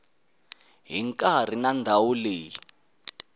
hi nkarhi na ndhawu leyi